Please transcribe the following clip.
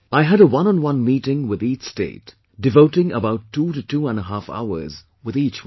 I had a oneonone meeting with each state, devoting about two to two and a half hours with each one